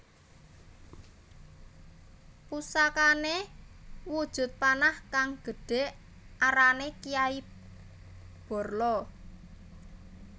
Pusakane wujud panah kang gedhe arane Kiai Barla